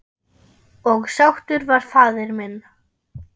Og sáttur var faðir minn.